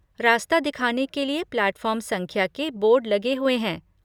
रास्ता दिखाने के लिए प्लैटफॉर्म संख्या के बोर्ड लगे हुए हैं।